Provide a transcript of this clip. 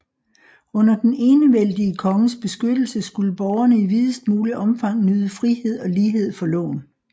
Under den enevældige konges beskyttelse skulle borgerne i videst muligt omfang nyde frihed og lighed for loven